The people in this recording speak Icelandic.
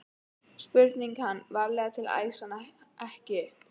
spurði hann, varlega til að æsa hana ekki upp.